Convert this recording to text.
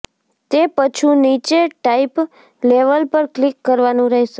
તે પછૂ નીચે ટાઇપ લેવલ પર ક્લિક કરવાનું રહેશે